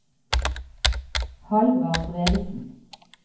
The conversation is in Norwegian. Hallvard Bredesen